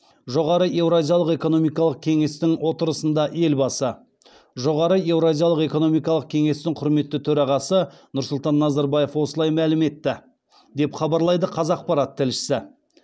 жоғары еуразиялық экономикалық кеңестің отырысында елбасы жоғары еуразиялық экономикалық кенестің құрметті төрағасы нұрсұлтан назарбаев осылай мәлім етті деп хабарлайды қазақпарат тілшісі